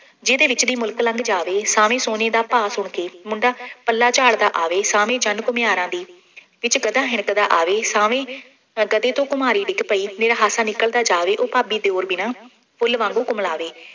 ਜਿਹਦੇ ਵਿੱਚ ਦੀ ਮੁਲਕ ਲੰਘ ਜਾਵੇ, ਸਾਵੇਂ ਸੋਨੇ ਦਾ ਭਾਅ ਸੁਣ ਕੇ ਮੁੰਡਾ ਪੱਲਾ ਝਾੜਦਾ ਆਵੇ, ਸਾਵੇਂ ਜੰਨ ਘੁੰਮਿਆਰਾਂ ਦੀ ਵਿੱਚ ਗਧਾ ਹਿਣਕਦਾ ਆਵੇ, ਸਾਵੇਂ ਗਧੇ ਤੋਂ ਘੁੰਮਿਆਰੀ ਡਿੱਗ ਪਈ, ਮੇਰਾ ਹਾਸਾ ਨਿਕਲਦਾ ਜਾਵੇ, ਉਹ ਭਾਬੀ ਦਿਉਰ ਮੇਰਾ, ਫੁੱਲ ਵਾਂਗੂੰ ਕੁਮਲਾਵੇਂ।